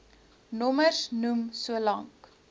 nommers noem solank